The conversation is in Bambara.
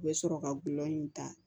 U bɛ sɔrɔ ka gulɔ in ta